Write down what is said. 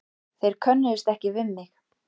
Þau könnuðust ekki við mig.